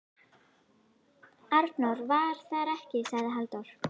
Arnór var þar ekki, sagði Halldór.